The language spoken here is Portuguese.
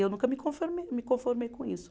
Eu nunca me conforme, me conformei com isso.